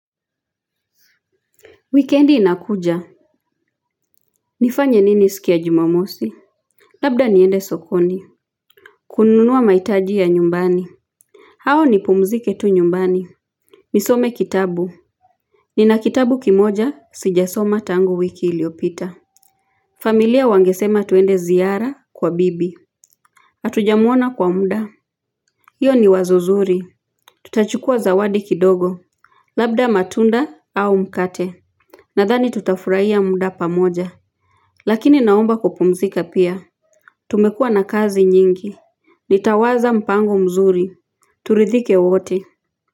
Wikendi inakuja. Nifanye nini siku ya jumamosi. Labda niende sokoni. Kununua mahitaji ya nyumbani au nipumzike tu nyumbani nisome kitabu. Nina kitabu kimoja sijasoma tangu wiki iliyopita. Familia wangesema tuende ziara kwa bibi hatujamuona kwa muda hiyo ni wazo zuri. Tutachukua zawadi kidogo. Labda matunda au mkate. Nadhani tutafurahia muda pamoja. Lakini naomba kupumzika pia. Tumekua na kazi nyingi. Nitawaza mpango mzuri. Turidhike wote.